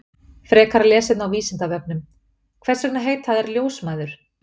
Frekara lesefni á Vísindavefnum: Hvers vegna heita þær ljósmæður?